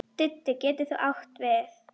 Didda getur átt við